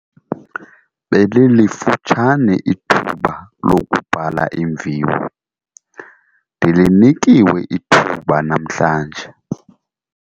Belilifutshane ithuba lokubhala iimviwo. Ndilinikiwe ithuba namhlanje.